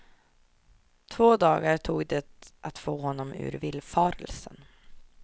Två dar tog det att få honom ur villfarelsen.